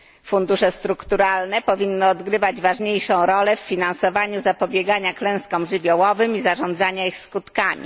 Fundusze strukturalne powinny odgrywać ważniejszą rolę w finansowaniu zapobiegania klęskom żywiołowym i zarządzania ich skutkami.